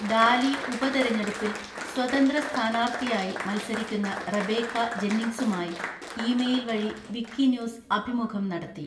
ഡാലി ഉപതെരഞ്ഞെടുപ്പിൽ സ്വതന്ത്ര സ്ഥാനാർത്ഥിയായി മത്സരിക്കുന്ന റെബേക്ക ജെന്നിംഗ്സുമായി ഇമെയിൽ വഴി വിക്കിന്യൂസ് അഭിമുഖം നടത്തി.